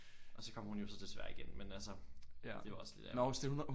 Og så kom hun jo så desværre ikke ind men altså det er jo også lidt ærgerligt